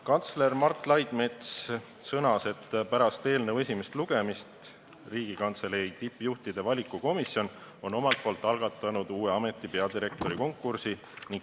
Kantsler Mart Laidmets sõnas, et pärast eelnõu esimest lugemist on Riigikantselei tippjuhtide valikukomisjon omalt poolt algatanud uue ameti peadirektori konkursi.